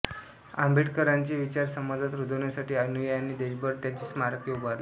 आंबेडकरांचे विचार समाजात रुजवण्यासाठी अनुयायांनी देशभर त्यांची स्मारके उभारली